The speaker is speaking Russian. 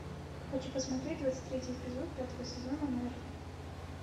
хочу посмотреть двадцать третий эпизод пятого сезона мерлин